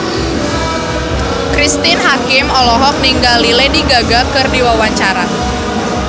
Cristine Hakim olohok ningali Lady Gaga keur diwawancara